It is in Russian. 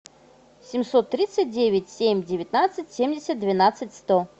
семьсот тридцать девять семь девятнадцать семьдесят двенадцать сто